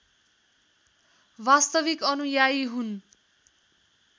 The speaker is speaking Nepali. वास्तविक अनुयायी हुन्